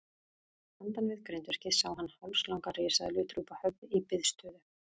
Handan við grindverkið sá hann hálslanga risaeðlu drúpa höfði í biðstöðu.